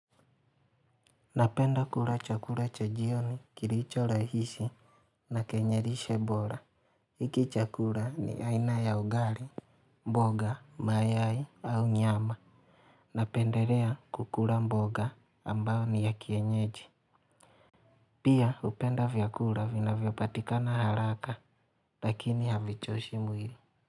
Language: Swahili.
Napenda kula chakula cha jioni, kilicho rahisi, na kenye lishe bora. Hiki chakula ni aina ya ugali, mboga, mayai, au nyama. Napendelea kukula mboga ambayo ni ya kienyeji. Pia hupenda vyakula vinavyopatikana haraka, lakini havichoshi mwili.